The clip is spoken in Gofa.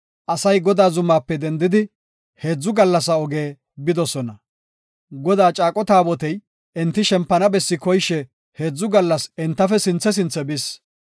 Asay Godaa zumaape dendidi, heedzu gallasa oge bidosona. Godaa caaqo Taabotey enti shempana bessi koyishe heedzu gallas entafe sinthe sinthe bis.